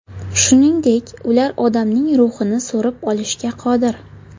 Shuningdek, ular odamning ruhini so‘rib olishga qodir.